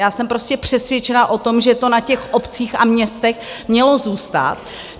Já jsem prostě přesvědčená o tom, že to na těch obcích a městech mělo zůstat.